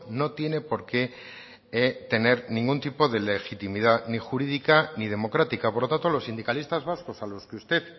no tiene por qué tener ningún tipo de legitimidad ni jurídica ni democrática por lo tanto los sindicalistas vascos a los que usted